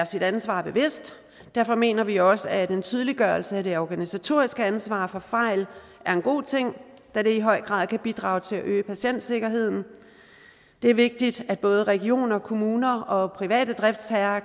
sit ansvar bevidst derfor mener vi også at en tydeliggørelse af det organisatoriske ansvar for fejl er en god ting da det i høj grad kan bidrage til at øge patientsikkerheden det er vigtigt at både regioner og kommuner og private driftsherrer